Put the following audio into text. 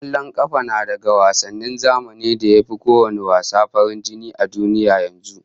Kwallon kafa na daga wasannin zamani da ya fi kowanne wasa farin jini a duniya yanzu